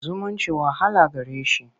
zumunci wahala gare shi.